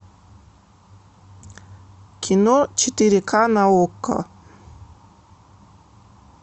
кино четыре ка на окко